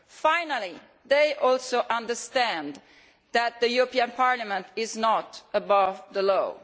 Finally, it too has understood that the European Parliament is not above the law.